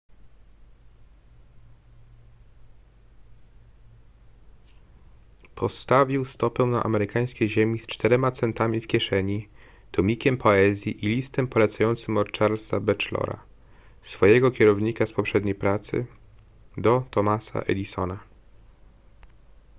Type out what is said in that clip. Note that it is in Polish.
postawił stopę na amerykańskiej ziemi z 4 centami w kieszeni tomikiem poezji i listem polecającym od charlesa batchelora swojego kierownika z poprzedniej pracy do thomasa edisona